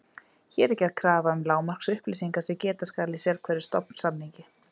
Hér er gerð krafa um lágmarksupplýsingar sem geta skal í sérhverjum stofnsamningi.